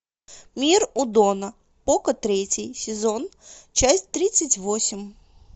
мир удона поко третий сезон часть тридцать восемь